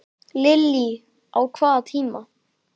Lillý: Á hvaða tíma?